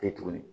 Kɛ tuguni